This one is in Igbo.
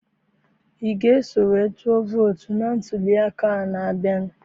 I ga eso wee tụọ vootu na ntụliaka a na-abịa?